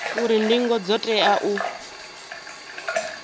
uri ndingo dzo tea u